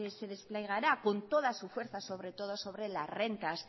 se desplegará con toda su fuerza sobre todo sobre las rentas